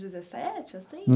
Dezessete, assim?